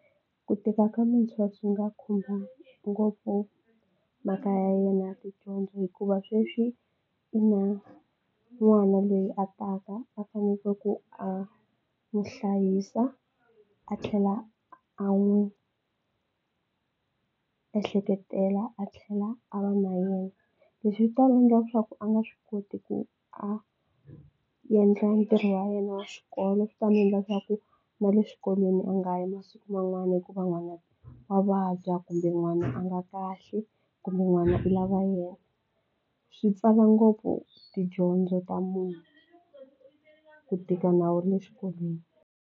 Ku tika ka muntshwa byi nga khumba ngopfu mhaka ya yena ya tidyondzo hikuva sweswi i na n'wana loyi a taka a fanekele ku a n'wi hlayisa a tlhela a n'wi ehleketela a tlhela a va na yena leswi swi ta endla leswaku a nga swi koti ku a endla ntirho wa yena wa xikolo leswi ta endla leswaku na le xikolweni a nga ha yi masiku man'wana hikuva n'wana wa vabya kumbe n'wana a nga kahle kumbe n'wana i lava yena swi pfala ngopfu tidyondzo ta munhu ku tika na wu ri le xikolweni.